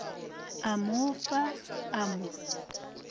a mo fa a mo